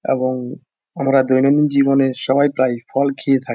এবং আমরা দৈনন্দিন জীবনে সবাই প্রায় ফল খেয়ে থাকি।